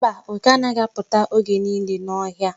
Mba, oke anaghị apụta oge niile n'ọhịa.